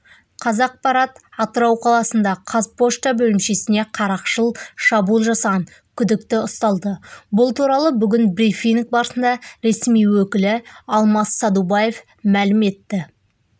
қазақпарат атырау қаласында қазпошта бөлімшесіне қарақшылық шабуыл жасаған күдікті ұсталды бұл туралы бүгін брифинг барысында ресми өкілі алмас садубаев мәлім етті